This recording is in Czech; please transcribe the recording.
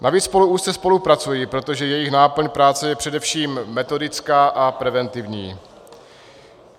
Navíc spolu úzce spolupracují, protože jejich náplň práce je především metodická a preventivní.